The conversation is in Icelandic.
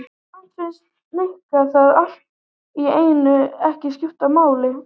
Samt fannst Nikka það allt í einu ekki skipta neinu máli.